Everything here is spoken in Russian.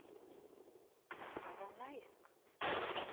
поронайск